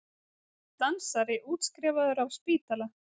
Dansari útskrifaður af spítala